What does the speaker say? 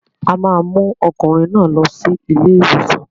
A máa mú ọkùnrin náà lọ sí ilé-ìwòsàn.